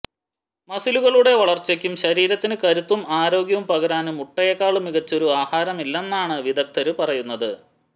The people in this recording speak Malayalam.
മസിലുകളുടെ വളര്ച്ചയ്ക്കും ശരീരത്തിന് കരുത്തും ആരോഗ്യവും പകരാന് മുട്ടയേക്കാള് മികച്ചൊരു ആഹാരമില്ലെന്നാണ് വിദഗ്ദര് പറയുന്നത്